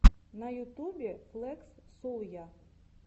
на ютубе флекс солйа